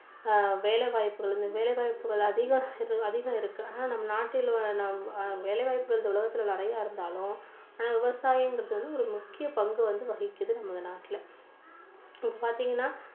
ஆஹ் வேலைவாய்ப்புகள் வேலைவாய்ப்புகள் அதிகம் அதிகம் இருக்கு ஆனா நம்ம நாட்டில் உள்ள ஆஹ் வேலைவாய்ப்புகள் இந்த உலகத்துல நிறைய இருந்தாலும் ஆனா விவசாயங்கிறது வந்து ஒரு முக்கிய பங்கு வந்து வகிக்குது நம்ம நாட்டுல. இப்போ பார்த்தீங்கன்னா